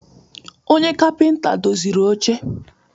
Onye kapịnta doziri oche.